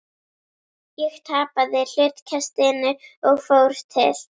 Ég tapaði hlutkestinu og fór til